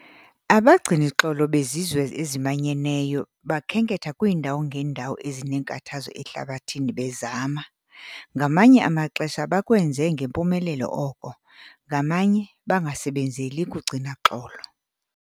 Abagcini xolo beZizwe eziManyeneyo bakhenketha kwiindawo ngeendawo ezineenkathazo ehlabathini bezama - ngamanye amaxesha bakwenze ngempumelelo oko, ngamanye bangasebenzeli kugcina xolo.